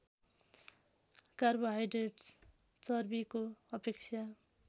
carbohydrates चर्बीको अपेक्षा